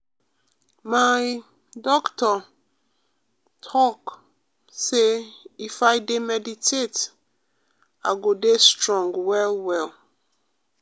my um doctor um talk um say if i dey meditate i go dey strong well well.